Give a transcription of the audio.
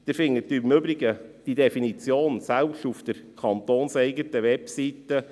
Sie finden diese Definition im Übrigen selbst auf der kantonseigenen Webseite.